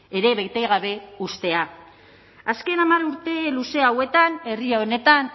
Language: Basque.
ere bete gabe uztea azken hamar urte luze hauetan herri honetan